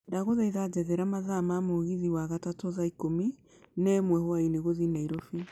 ndagũthaitha njethera mathaa rĩa mũgithi wa gatatũ thaa ikũmi na ĩmwe hwaĩinĩ gũthiĩ nairobi